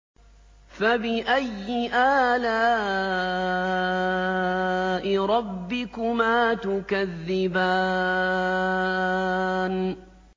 فَبِأَيِّ آلَاءِ رَبِّكُمَا تُكَذِّبَانِ